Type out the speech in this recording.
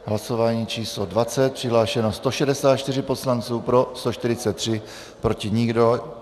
Hlasování číslo 20, přihlášeno 164 poslanců, pro 143, proti nikdo.